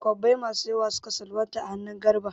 Kwabbai masu yawa suka salwanta a hannun Garba.